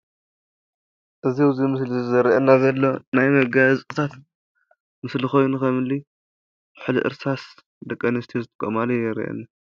እዚ ኣብዚ ምስሊ ዝርኣና ዘሎ ናይ መጋየፅታት ምስሊ ኮይኑ ከምኒ ኩሑሊ እርሳስ ደቂ ኣንስትዮ ዝጥቀማሉ ይረአየኒ።